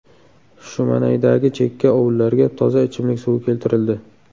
Shumanaydagi chekka ovullarga toza ichimlik suvi keltirildi.